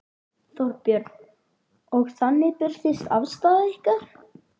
Þorbjörn: Og þannig birtist afstaða ykkar?